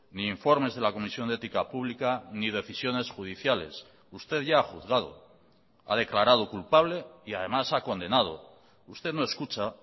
ni informes de la comisión de ética pública ni decisiones judiciales usted ya ha juzgado ha declarado culpable y además ha condenado usted no escucha